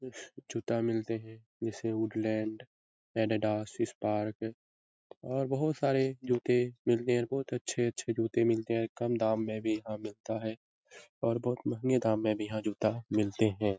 जूता मिलते है जैसे हूड़लएंड एडीडास स्पार्क और बहुत सारे जूते मिलते है बहुत अच्छे-अच्छे जूते मिलते है कम दाम में भी यहाँ मिलता है और बहुत महँगे दाम में भी जूता यहाँ मिलते हैं |